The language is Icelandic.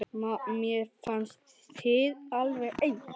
Mér fannst þið alveg eins.